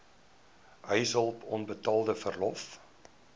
huishulp onbetaalde verlof